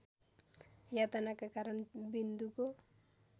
यातनाका कारण विन्दुको